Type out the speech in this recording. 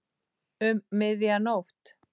Um miðja nótt.